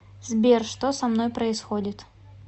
сбер что со мной происходит